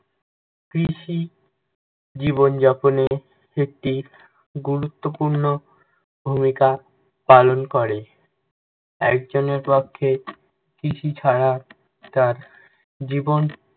কৃষি জীবনযাপনে একটি গুরুত্বপূর্ণ ভুমিকা পালন করে। একজনের পক্ষে, কৃষি ছাড়া তার জীবন